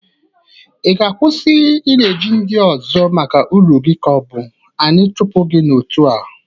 Ị ga-akwụsị ị na-eji ndị ọzọ maka ụrụ gi ka ọ bụ anyị chụpụ gị n'otu a?